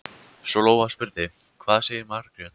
Svo Lóa spurði: Hvað sagði Margrét?